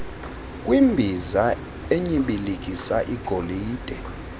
kwimbiza enyibilikisa igolide